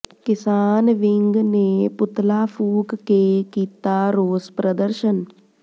ਕਿਸਾਨ ਵਿੰਗ ਨੇ ਪੁਤਲਾ ਫੂਕ ਕੇ ਕੀਤਾ ਰੋਸ ਪ੍ਰਦਰਸ਼ਨ